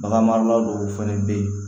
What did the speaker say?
Bagan marala dɔw fɛnɛ be yen